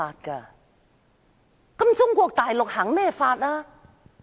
那麼，中國實行甚麼法？